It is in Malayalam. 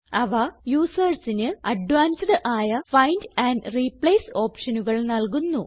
അവ usersന് അഡ്വാൻസ്ഡ് ആയ ഫൈൻഡ് ആൻഡ് റിപ്ലേസ് ഓപ്ഷനുകൾ നല്കുന്നു